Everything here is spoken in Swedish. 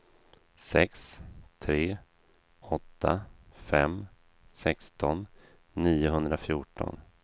sex tre åtta fem sexton niohundrafjorton